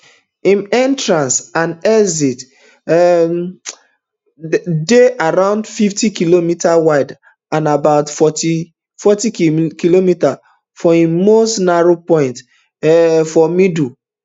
im entrance and exit um um dey around fiftykm wide and about fortykm for im most narrow point um for middle